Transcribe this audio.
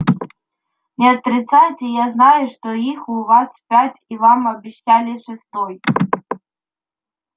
не отрицайте я знаю что их у вас пять и вам обещали шестой